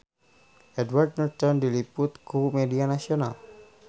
Edward Norton diliput ku media nasional